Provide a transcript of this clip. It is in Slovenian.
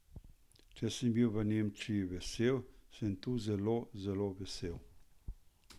Če sem bil v Nemčiji vesel, sem tu zelo zelo vesel.